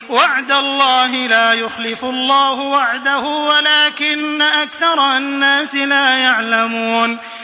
وَعْدَ اللَّهِ ۖ لَا يُخْلِفُ اللَّهُ وَعْدَهُ وَلَٰكِنَّ أَكْثَرَ النَّاسِ لَا يَعْلَمُونَ